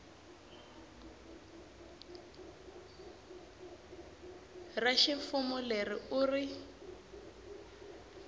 ra ximfumo leri u ri